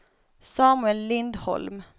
Samuel Lindholm